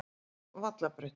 Vallarbraut